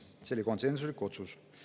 See oli konsensuslik otsus.